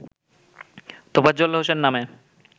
তোফাজ্জল হোসেন নামে